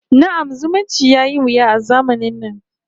Na'am, zumunci yayi wuya a zamanin na